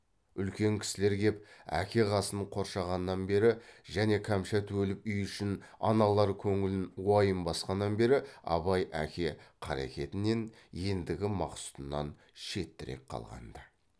үлкен кісілер кеп әке қасын қоршағаннан бері және кәмшат өліп үй ішін аналар көңілін уайым басқаннан бері абай әке қарекетінен ендігі мақсұтынан шеттірек қалған ды